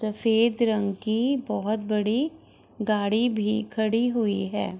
सफ़ेद रंग की बहुत बड़ी गाड़ी भी खड़ी हुई है |